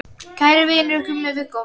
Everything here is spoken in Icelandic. Kæri vinur, Gummi Viggós.